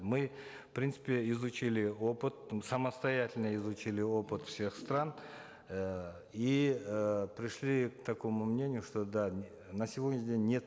мы в принципе изучили опыт самостоятельно изучили опыт всех стран эээ и э пришли к такому мнению что да на сегодняшний день нет